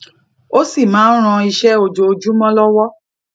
ó sì máa ń ran iṣé ojoojúmó lowo